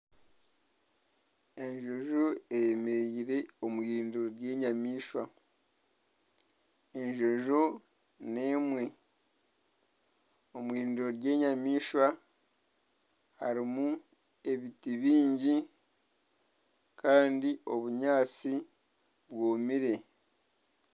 Enjojo eyemereire omu eirindiro ry'enyamaishwa. Enjojo n'emwe. Omu eirindiro ry'enyamaishwa harimu ebiti bingi. Kandi obunyaatsi bwomire.